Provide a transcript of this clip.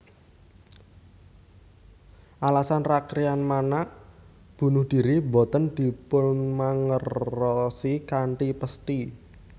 Alasan Rakryan Manak bunuh diri boten dipunmangerosi kanthi pesthi